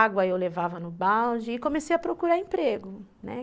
Água eu levava no balde e comecei a procurar emprego, né?